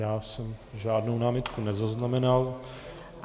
Já jsem žádnou námitku nezaznamenal.